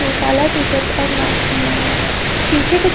ने काला टी-शर्ट और मास्क पहना हुआ है पीछे कुछ --